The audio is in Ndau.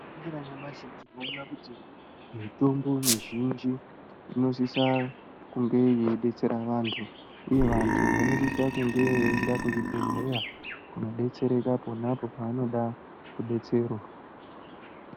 Tikaningira nyamashi tinoona kuti mitombo mizhinji inosisa kunge yeidetsera vantu uye vantu vanosisa kunge veienda kuzvibhedhleya kunodetsereka ponapo pavanoda kudetserwa.